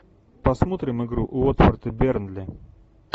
посмотрим игру уотфорд и бернли